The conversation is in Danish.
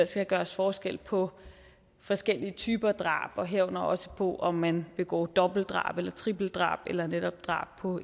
skal gøres forskel på forskellige typer drab herunder også på om man begår dobbeltdrab eller tripledrab eller netop drab på